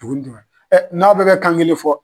n'aw bɛɛ bɛ kan kelen fɔ.